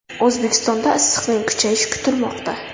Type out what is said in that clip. O‘zbekistonda issiqning kuchayishi kutilmoqda.